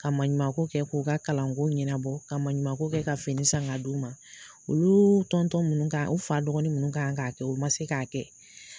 Ka maɲumanko kɛ k'u ka kalanko ɲɛnabɔ ka maɲumanko kɛ ka fini san ka d'u ma olu minnu kan u fa dɔgɔn minnu kan k'a kɛ u man se k'a kɛ.